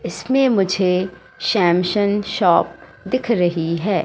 इसमें मुझे Samsung shop दिख रही है।